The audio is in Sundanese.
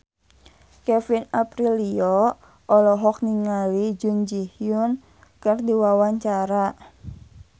Kevin Aprilio olohok ningali Jun Ji Hyun keur diwawancara